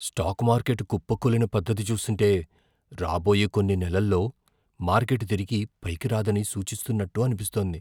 Stock market కుప్పకూలిన పద్ధతి చూస్తుంటే, రాబోయే కొన్ని నెలల్లో మార్కెట్ తిరిగి పైకి రాదని సూచిస్తున్నట్టు అనిపిస్తోంది.